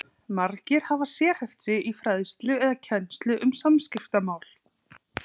Margir hafa sérhæft sig í fræðslu eða kennslu um samskiptamál.